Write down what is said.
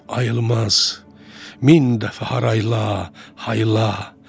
Ayılmaz min dəfə haraylay, haraylay.